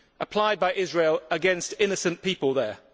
applied by Israel against innocent people there.